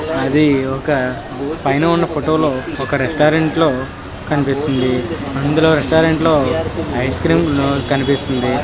అది ఒక పైన ఉన్నా ఫోటో లో ఒక రెస్టారెంట్ లో కనిపిస్తుంది అందులో రెస్టారెంట్ లో ఐస్ క్రీమ్ కనిపిస్తుంది.